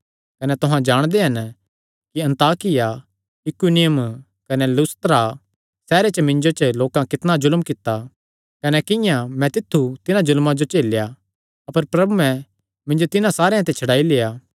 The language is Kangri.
कने तुहां जाणदे हन कि अन्ताकिया इकुनियुम कने लुस्त्रा सैहरे च मिन्जो पर लोकां कितणा जुल्म कित्ता कने किंआं मैं तित्थु तिन्हां जुल्मां जो झेलेया अपर प्रभुयैं मिन्जो तिन्हां सारेयां ते छड्डाई लेआ